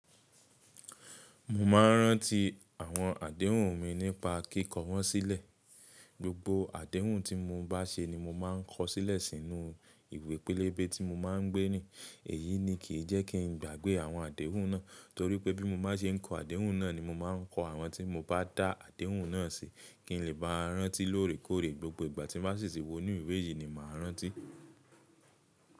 Mo máa ń rántí àwọn àdéhùn mi nípa kí kọ́ wọ́n sílẹ̀. Gbógbó àdéhùn tí mo bá ṣe ni mo máa ń kọ sílẹ̀ sínú ìwé pélébé tí mo máa ń gbé rin. Èyí ni kì í jẹ́ kí ń gbàgbé àwọn àdéhùn náà, torí pé bí mo bá ṣe ń kọ àdéhùn náà ni mo máa ń kọ àwọn tí mo bá dá àdéhùn náà sí, kí ń lè bá rántí lóòrèkóòrè gbogbo ìgbà tí mo bá ṣì ṣì wọ inú ìwé yìí ni mo máa rántí.